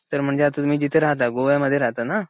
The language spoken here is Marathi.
तर आता म्हणजे तुम्ही जिथे राहता गोव्या मध्ये राहता ना?